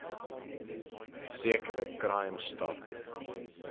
sekere crime stop